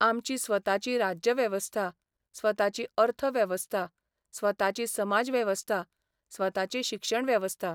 आमची स्वताची राज्यवेवस्था, स्वताची अर्थवेवस्था, स्वताची समाजवेवस्था, स्वताची शिक्षणवेवस्था.